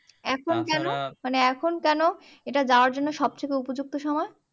এখন মানে এখন কেনো এটা যাওয়ার জন্য সব থেকে উপযুক্ত সময়